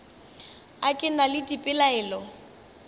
a ke na le dipelaelo